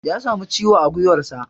Ya samu ciwo a gwiwarsa.